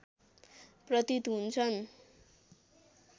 प्रतीत हुन्छन्